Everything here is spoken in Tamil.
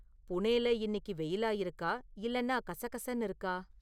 புனேல இன்னிக்கு வெயிலா இருக்கா இல்லைன்னா கசகசன்னு இருக்கா?